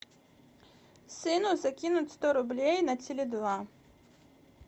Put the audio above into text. сыну закинуть сто рублей на теле два